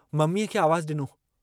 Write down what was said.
मम्मीअ खे आवाज़ डिनो।